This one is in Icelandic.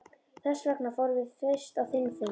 Þessvegna fórum við fyrst á þinn fund.